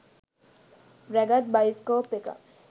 රැගත් බයිස්කෝප් එකක්